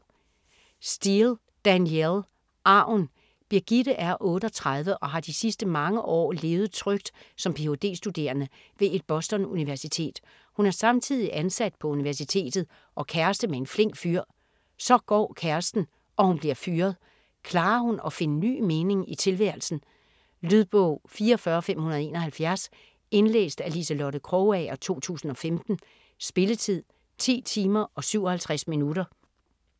Steel, Danielle: Arven Brigitte er 38 og har de sidste mange år levet trygt som ph.d.-studerende ved et Boston-universitet. Hun er samtidig ansat på universitetet og kæreste med en flink fyr. Så går kæresten, og hun bliver fyret. Klarer hun at finde ny mening i tilværelsen? Lydbog 44571 Indlæst af Liselotte Krogager, 2015. Spilletid: 10 timer, 57 minutter.